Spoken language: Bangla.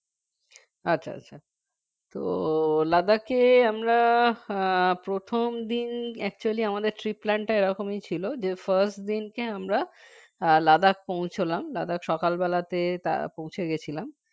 আচ্ছা আচ্ছা তো Ladakh এ আমরা আহ প্রথম দিন actually আমাদের trip plan টা এরকমই ছিল যে First দিনকে আমরা আহ Ladakh পৌঁছলাম Ladakh সকালবেলাতে তা পৌঁছে গেছিলাম